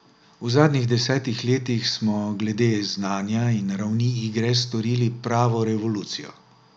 V zadnjih desetih letih smo glede znanja in ravni igre storili pravo revolucijo.